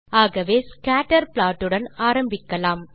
ஆகவே scatter plot உடன் ஆரம்பிக்கலாம்